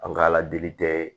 An ka ala deli tɛ